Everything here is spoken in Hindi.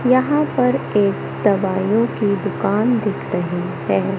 यहां पर एक दवाइयों की दुकान दिख रही है।